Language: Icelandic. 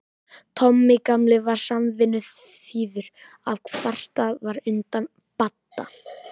Tommi gamli var samvinnuþýður ef kvartað var undan Badda.